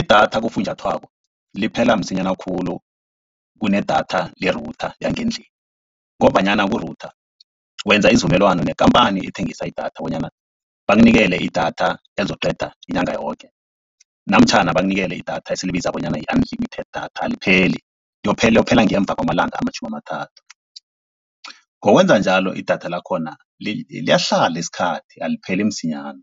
Idatha kufunjathwako liphela msinyana khulu kunedatha le-router yangendlini, ngombanyana ku-router wenza isivumelwano nekampani ethengisa idatha bonyana bakunikele idatha elizokuqeda inyanga yoke, namtjhana bakunikele idatha esilibiza bonyana yi-unlimited data alipheli liyophela ngemva kwamalanga amatjhumi amathathu. Ngokwenza njalo idatha lakhona liyahlala isikhathi, alipheli msinyana